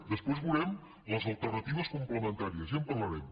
després veurem les alternatives complementàries ja en parlarem